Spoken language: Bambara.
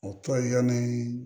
O tɔ ye yani